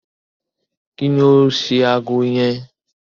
Kí ni ó ṣe ago yẹn?